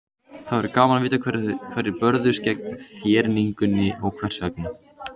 Það væri gaman að vita hverjir börðust gegn þéringunni og hvers vegna.